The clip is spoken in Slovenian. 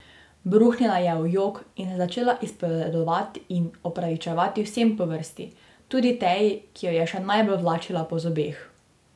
Bruhnila je v jok in se začela izpovedovati in opravičevati vsem po vrsti, tudi Teji, ki jo je še najbolj vlačila po zobeh.